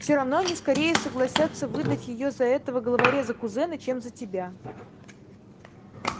всё равно они скорее согласятся выдать её за этого головореза-кузена чем за тебя